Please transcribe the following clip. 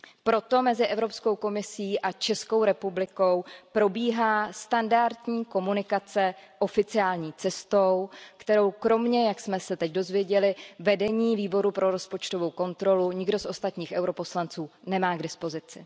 Proto mezi Evropskou komisí a Českou republikou probíhá standardní komunikace oficiální cestou, kterou kromě, jak jsme se teď dozvěděli, vedení Výboru pro rozpočtovou kontrolu, nikdo z ostatních europoslanců nemá k dispozici.